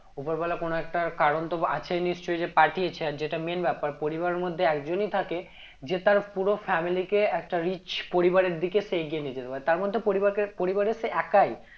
উপরওয়ালা কোনো একটা কারণ তো আছেই নিশ্চই যে পাঠিয়েছে আর যেটা main ব্যাপার পরিবার মধ্যে একজনই থাকে যে তার পুরো family কে একটা rich পরিবারের দিকে সে এগিয়ে নিয়ে যেতে পারে তার মধ্যে পরিবার কে পরিবারের সে একাই